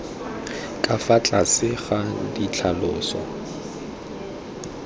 ka fa tlase ga ditlhaloso